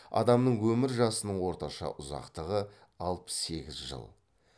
адамның өмір жасының орташа ұзақтығы алпыс сегіз жыл